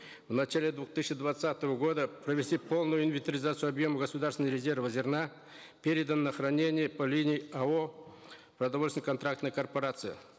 в начале двух тысячи двадцатого года провести полную инвентаризацию объемов государственного резерва зерна переданного на хранение по линии ао продовольственно контрактная корпорация